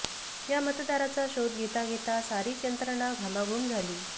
या मतदाराचा शोध घेता घेता सारीच यंत्रणा घामाघूम झाली